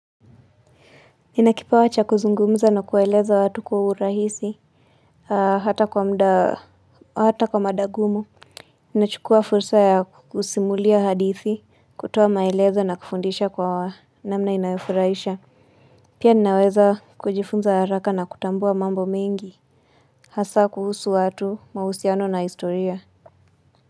Ninakipawa cha kuzungumza na kueleza watu kwa urahisi Haa hata kwa muda hata kwa madagumu Ninachukua fursa ya kusimulia hadithi kutoa maelezo na kufundisha kwa namna inayofurahisha Pia ninaweza kujifunza haraka na kutambua mambo mingi Hasa kuhusu watu mahusiano na historia.